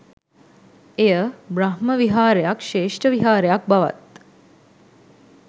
එය බ්‍රහ්මවිහාරයක් ශ්‍රේෂ්ඨ විහාරයක් බවත්